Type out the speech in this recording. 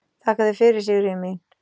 Þakka þér fyrir, Sigríður mín.